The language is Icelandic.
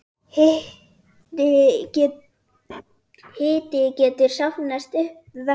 Hiti getur safnast upp vegna